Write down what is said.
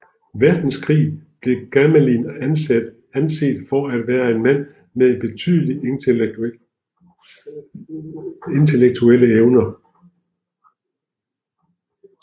Verdenskrig blev Gamelin anset for at være en mand med betydelige intellektuelle evner